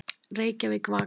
Reykjavík, Vaka.